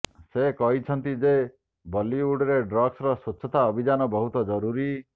ସେ କହିଛନ୍ତି ଯେ ବଲିଉଡରେ ଡ୍ରଗ୍ସର ସ୍ୱଚ୍ଛତା ଅଭିଯାନ ବହୁତ ଜରୁରୀ